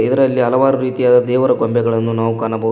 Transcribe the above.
ಇದರಲ್ಲಿ ಹಲವಾರು ರೀತಿಯಾದ ದೇವರ ಗೊಂಬೆಗಳನ್ನು ನಾವು ಕಾಣಬ --